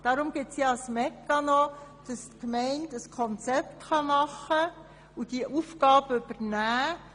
Deshalb gibt es dieses Meccano, sodass die Gemeinde ein Konzept erarbeiten und die Aufgabe übernehmen kann.